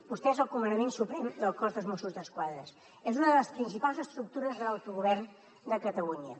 vostè és el comandament suprem del cos dels mossos d’esquadra és una de les principals estructures de l’autogovern de catalunya